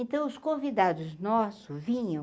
Então os convidados nossos vinham,